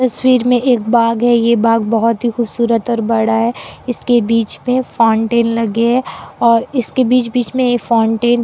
तस्वीर में एक बाग है ये बाग बहुत ही खूबसूरत और बड़ा है इसके बीच में फाउंटेन लगे है और इसके बीच-बीच में ये फाउंटेन --